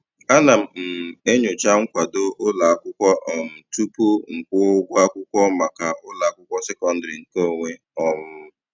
Ana m um enyocha nkwado ụlọakwụkwọ um tupu m kwụwa ụgwọ akwụkwọ maka ụlọakwụkwọ sekondịrị nke onwe. um